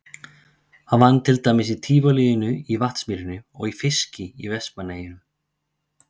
Hann vann til dæmis í Tívolíinu í Vatnsmýrinni og í fiski í Vestmannaeyjum.